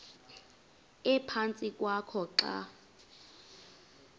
ephantsi kwakho xa